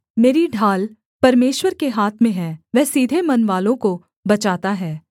मेरी ढाल परमेश्वर के हाथ में है वह सीधे मनवालों को बचाता है